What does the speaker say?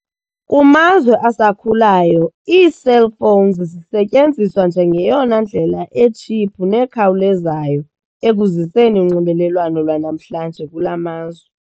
Kumazwe asakhulayo ii'cell phones' zisetyenziswa njengeyona ndlela etshiphu nekhawulezayo ekuziseni unxibelelwano lwanamhlanje kula mazwe.